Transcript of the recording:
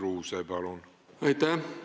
Aitäh!